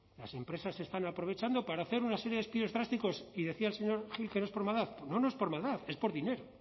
las empresas están aprovechando para hacer una serie de despidos drásticos y decía el señor gil que no es por maldad no no es por maldad es por dinero